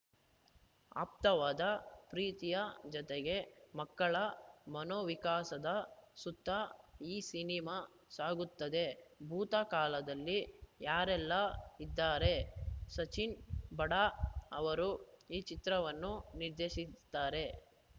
ಆಪ್ತವಾದ ಪ್ರೀತಿಯ ಜತೆಗೆ ಮಕ್ಕಳ ಮನೋವಿಕಾಸದ ಸುತ್ತ ಈ ಸಿನಿಮಾ ಸಾಗುತ್ತದೆ ಭೂತಃ ಕಾಲದಲ್ಲಿ ಯಾರೆಲ್ಲ ಇದ್ದಾರೆ ಸಚಿನ್‌ ಬಾಡಾ ಅವರು ಈ ಚಿತ್ರವನ್ನು ನಿರ್ದೇಶಿಸಿದ್ದಾರೆ